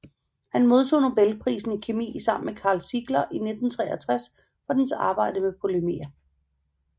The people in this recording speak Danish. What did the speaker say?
Han modtog nobelprisen i kemi sammen med Karl Ziegler i 1963 for deres arbejde med polymerer